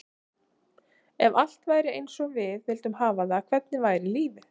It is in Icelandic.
Ef allt væri eins og við vildum hafa það, hvernig væri lífið?